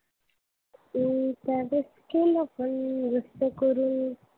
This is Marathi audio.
मी त्यावेळेस गेलो पण रस्त्याकडून